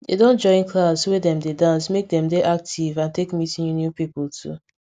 dey don join class wey dem dey dance make dem dey active and take meet new new people too